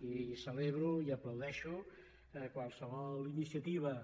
i celebro i aplaudeixo qualsevol iniciativa